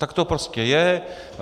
Tak to prostě je.